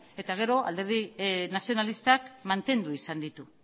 eta alderdi nazionalistak mantendu izan ditu